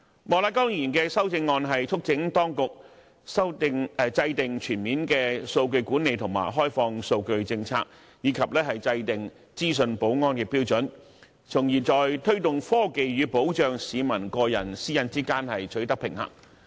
莫乃光議員的修正案促請當局制訂全面的數據管理和開放數據政策，以及制訂資訊保安的標準，從而在推動科技與保障市民個人私隱之間取得平衡。